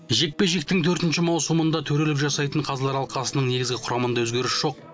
жекпе жектің төртінші маусымында төрелік жасайтын қазылар алқасының негізгі құрамында өзгеріс жоқ